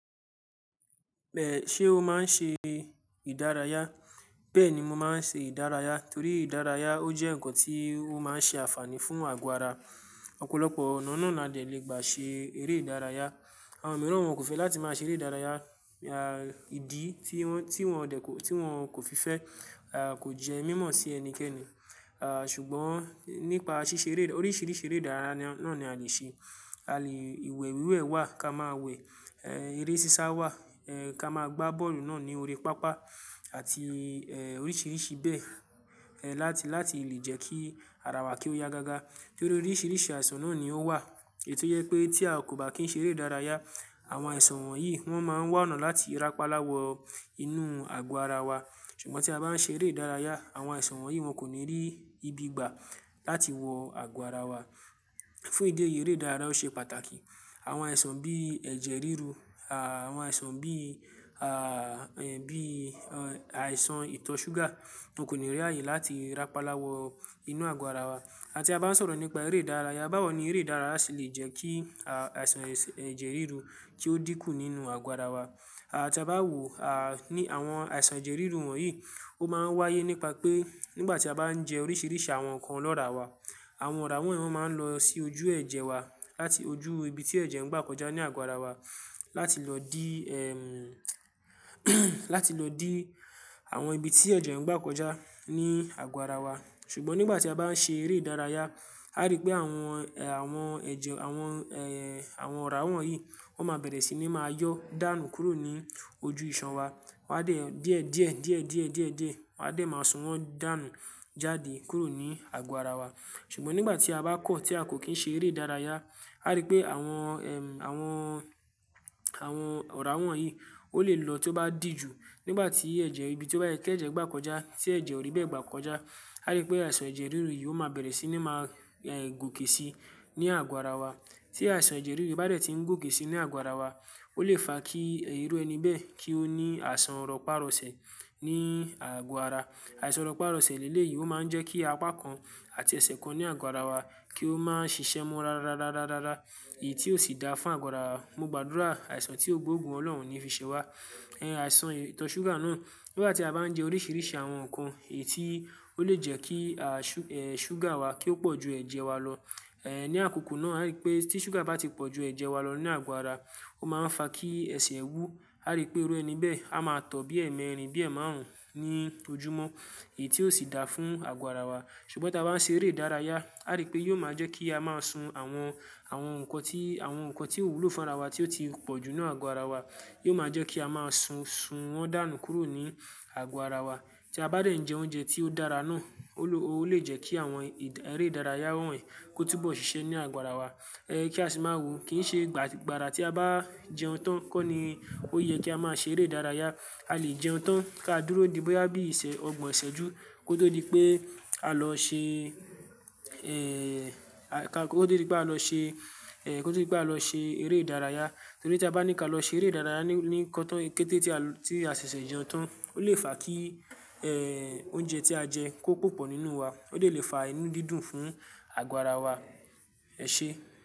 Bẹ́ẹ̀ ṣé o máa ń ṣe ìdárayá? Bẹ́ẹ̀ ni mo máa ń ṣe ìdárayá torí ìdárayá ó jẹ́ ǹkan tí ó máa ń ṣe àfààní fún àgọ́ ara. Ọ̀pọ̀lọpọ̀ ọ̀nà náà la dẹ lè gbà ṣe eré ìdárayá. Àwọn mìíràn wọn kò fẹ́ láti máa ṣe eré ìdárayá. À, ìdí tí wọ́n dẹ kò, tí wọ́n kò fi fẹ́, à, kò jẹ́ mímọ̀ sí ẹnikẹ́ni. À, ṣùgbọ́n nípa ṣíṣe eré, oríṣiríṣi eré ìdárayá náà ni a lè ṣe. A lè, ìwẹ̀ wíwẹ̀ wà ká máa wẹ̀, ẹ́, eré sísá wà, ẹ́, ká máa gbá bọ́ọ̀lù náà ní orí pápá àti, ẹ́, oríṣiríṣi bẹ́ẹ̀, ẹ́, láti, láti lè jẹ́ kí ara wa kí ó ya gágá. Torí oríṣiríṣi àìsàn náà ni ó wà èti yẹ pé tí a kò bá kí ń ṣe eré ìdárayá, àwọn àìsàn wọ̀nyí wọ́n máa ń wánà láti rapaláwọ inú àgọ́ ara wa. Ṣùgbọ́n tí a bá ń ṣe eré ìdárayá àwọn àìsàn wọ̀nyí wọn kò ní rí ibi gbà láti wọ àgọ́ ara wa. Fún ìdí èyí eré ìdárayá ó ṣe pàtàkì. Àwọn àìsàn bí ẹ̀jẹ̀ ríru, à, àwọn àìsàn bí, à, ẹ́, bí àìsàn ìtọ̀ ṣúgà wọn kò ní rí ààyè láti rapaláwọ inú àgọ́ ara wa à tí a bá ń sọ̀rọ̀ nípa eré ìdárayá bá wò ni eré ìdárayá si lè jẹ́ kí, à, àìsàn ẹ̀jẹ̀ ríru kí ó dínkù nínú àgọ́ ara wa. À ti á bá wo, à, ní àwọn àìsàn ẹ̀jẹ̀ ríru wọ̀nyí ó máa ń wáyé nípa pé nígbà tí a bá ń jẹ oríṣiríṣi àwọn ǹkan lọ́ra wa àwọn ọ̀rá wọ̀n wọn máa ń lọ sí ojú ẹ̀jẹ̀ wa láti ojú ibi tí ẹ̀jẹ̀ ń gbà kọjá ní àgọ́ ara wa láti lọ dì, ẹm, láti lọ dì àwọn ibi tí ẹ̀jẹ̀ ń gbà kọjá ní àgọ́ ara wa. Ṣùgbọ́n nígbà tí a bá ń ṣe eré ìdárayá a rí pé àwọn, ẹ, àwọn ẹ̀jẹ̀, àwọn, ẹ́, àwọn ọ̀rá wọ̀nyí wọ́n máa bẹ̀rẹ̀ sí ní máa yọ dànù kúrò ní ojú ìṣàn wa. Wa dẹ díẹ̀ díẹ̀ díẹ̀ díẹ̀ díẹ̀ díẹ̀ wa dẹ máa sun wọn dànù jáde kúrò ní àgọ́ ara wa. Ṣùgbọ́n nígbà tí a bá kọ̀ tí a kò kí ń ṣe eré ìdárayá a rí pé àwọn, ẹm, àwọn, àwọn ọ̀rá wọ̀nyí ó lè lọ tí ó bá di jù nígbà tí ẹ̀jẹ̀ ibi tí ó bá yẹ kí ẹ̀jẹ̀ gbà kọjá tí ẹ̀jẹ̀ ò rí bẹ́ẹ̀ gbà kọjá a rí pé àìsàn ẹ̀jẹ̀ ríru yìí ó máa bẹ̀rẹ̀ sí ní máa, ẹ́, gòkè sí ní àgọ́ ara wa. Tí àìsàn ẹ̀jẹ̀ ríru bá dẹ̀ tí ń gòkè sí ní àgọ́ ara wa ó lè fa kí irú ẹni bẹ́ẹ̀ kí ó ní àìsàn rọpá-rọsẹ̀ ní àgọ́ ara. Àìsàn rọpá-rọsẹ̀ líle yìí ó máa ń jẹ́ kí apá kan àti ẹsẹ̀ kan ní àgọ́ ara wa kí ó máa ń ṣiṣẹ́ mọ́ ra ra ra ra ra ra. Í tí ó sì dá fún àgọ́ ara. Mo gbàdúrà àìsàn tí ò gbógun Ọlọ́run ò ni fi ṣè wa. Ẹ̀, àìsàn ìtọ̀ ṣúgà náà nígbà tí a bá ń jẹ oríṣiríṣi àwọn ǹkan èyí tí ó lè jẹ́ kí, à, ṣú, ẹ́, ṣúgà wa kí ó pọ̀ ju ẹ̀jẹ̀ wa lọ, ẹ́, ní àkókò náà a rí pé tí ṣúgà bá ti pọ̀ ju ẹ̀jẹ̀ wa lọ ní àgọ́ ara ó máa ń fa kí ẹsẹ̀ wú. A rí pé irú ẹni bẹ́ẹ̀ a máa tọ̀ bí ẹ́ẹ̀mẹrin bí ẹ́ẹ̀maàrún ní ojúmọ́ èyí tí ó sì dá fún àgọ́ ara wa. Ṣùgbọ́n ta bá ń ṣe eré ìdárayá a rí pé yóò máa jẹ́ kí a máa sun àwọn, àwọn ǹkan tí, àwọn ǹkan tí ó wúlò fún ara wa tí ó ti pọ̀jù nínú àgọ́ ara wa. Yóò máa jẹ́ kí a máa sun, sun wọn dànù kúrò ní àgọ́ ara wa. Tí a bá dẹ̀ ń jẹ oúnjẹ tí ó dára náà ó lè, ó lè jẹ́ kí àwọn ì, eré ìdárayá wọ̀nyí kó túbọ̀ ṣiṣẹ́ ní àgọ́ ara wa. Ẹ́, kí a sì máa wo kì í ṣe gbà gbàrà tí a bá jẹun tán kọ́ ni ó yẹ kí a máa ṣe eré ìdárayá. A lè jẹun tán ká dúró di bóyá bí ìṣẹ̀ ọgbọ̀n ìṣẹ́jú kó tó di pé á lọ ṣe, ẹ́, ká kó tó di pé á lọ ṣe, ẹ́, kó tó di pé á lọ ṣe eré ìdárayá. Torí tí a bá ní ká lọ ṣe eré ìdárayá ní, ní kọ̀tán kété tí a lọ, tí a ṣẹ̀ṣẹ̀ jẹun tán ó lè fa kí, ẹ́, oúnjẹ tí a jẹ kó pọ̀pọ̀ nínú wa ó dẹ lè fa inú dídùn fún àgọ́ ara wa. Ẹ ṣé?